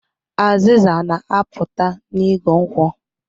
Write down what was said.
Azịza na-apụta n'igu nkwụ